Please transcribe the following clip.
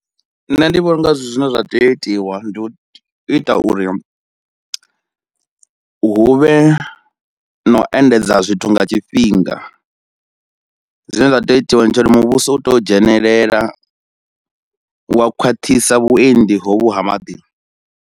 Nṋe ndi vhona unga zwithu zwine zwa tea u itiwa ndi u ita uri hu vhe na u endedza zwithu nga tshifhinga, zwine zwa tea u itiwa ndi tsho uri muvhuso u tea u dzhenelela wa khwaṱhisa vhuendi hovhu ha maḓi.